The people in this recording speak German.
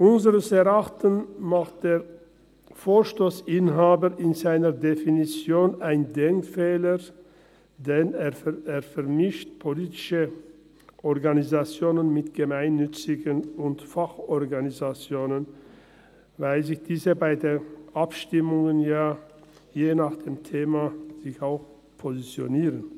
Unseres Erachtens macht der Autor des Vorstosses in seiner Definition einen Denkfehler, denn er vermischt politische Organisationen mit gemeinnützigen und Fachorganisationen, weil sich diese bei Abstimmungen je nach Thema auch positionieren.